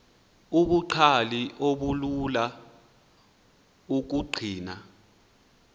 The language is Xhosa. ubungcali obulula ukubugcina